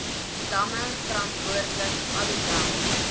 damme verantwoordelik alhoewel